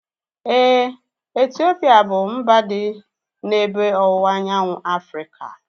Éè, Etiopia bụ mba dị n'ebe ọwụwa anyanwụ Afrịka